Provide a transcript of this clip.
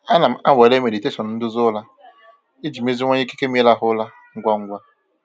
Ana m anwale meditation nduzi ụra iji meziwanye ikike m ịrahụ ụra ngwa ngwa.